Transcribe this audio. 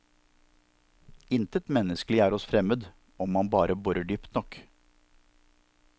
Intet menneskelig er oss fremmed, om man borer dypt nok.